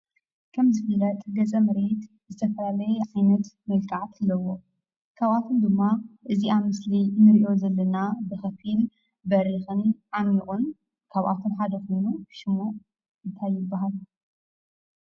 ከም ዝፍለጥ ገፀ-ምድሪ ዝተፈላለየ ዓይነት መልክዓት ኣለውዎ። ካብኣቶም ድማ እዚ ኣብ ምስሊ እንሪኦ ዘለና ብኽፊል በሪኽን ዓሚቑን ካብ ኣቶም ሓደ ኮይኑ ሽሙ እንታይ ይባሃል?